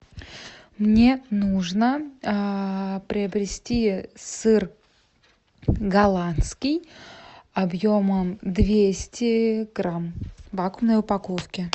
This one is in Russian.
мне нужно приобрести сыр голландский объемом двести грамм в вакуумной упаковке